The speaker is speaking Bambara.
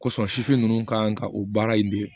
Kosɔn sifin ninnu ka o baara in de